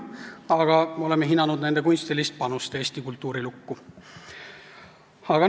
Aga me oleme hinnanud nende kunstilist panust eesti kultuurilukku.